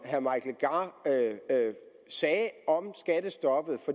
herre mike legarth sagde om skattestoppet